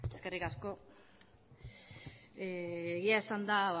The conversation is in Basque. eskerrik asko egia esan ia